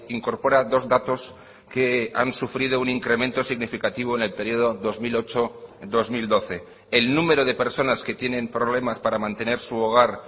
incorpora dos datos que han sufrido un incremento significativo en el periodo dos mil ocho dos mil doce el número de personas que tienen problemas para mantener su hogar